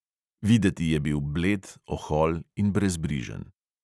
Videti je bil bled, ohol in brezbrižen.